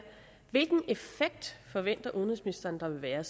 hvilken effekt forventer udenrigsministeren der vil være